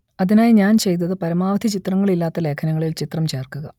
അതിനായി ഞാൻ ചെയ്തത് പരമാവധി ചിത്രങ്ങൾ ഇല്ലാത്ത ലേഖനങ്ങളിൽ ചിത്രം ചേർക്കുക